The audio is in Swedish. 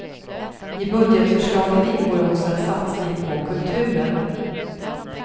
I budgetförslaget ingår också en satsning på kulturen.